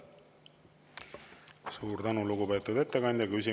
Suur tänu, lugupeetud ettekandja!